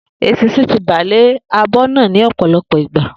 Eṣinṣin ti bà lé abọ́ náà ní òpòlopò ìgbà